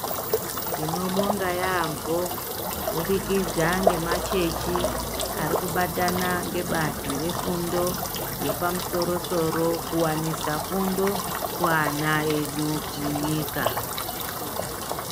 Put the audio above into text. Tinobonga yaambo kubudikidza ngemachechi arikubatana ngebazi refundo yepamusoro-soro, kuwanisa fundo kuana edu munyika.